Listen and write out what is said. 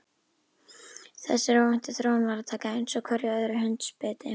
Þessari óvæntu þróun varð að taka einsog hverju öðru hundsbiti.